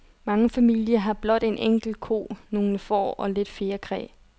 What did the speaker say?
Mange familier har blot en enkelt ko, nogle får og lidt fjerkræ.